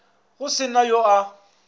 go se na yo a